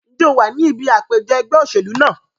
Ǹjẹ́ o wà ní ibi àpèjọ ẹgbẹ́ òṣèlú náà?